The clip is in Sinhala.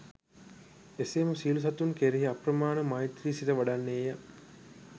එසේම සියලු සතුන් කෙරෙහි අප්‍රමාණ මෛත්‍රි සිත වඩන්නේ ය.